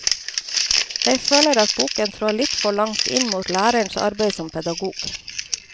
Jeg føler at boken trår litt for langt inn mot lærerens arbeid som pedagog.